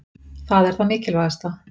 Það er það mikilvægasta.